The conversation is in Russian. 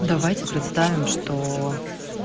давайте представим что